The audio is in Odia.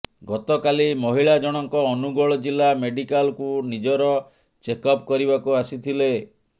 ଗତକାଲି ମହିଳା ଜଣଙ୍କ ଅନୁଗୋଳ ଜିଲ୍ଲା ମେଡିକାଲକୁ ନିଜର ଚେକ୍ଅପ୍ କରିବାକୁ ଆସିଥିଲେ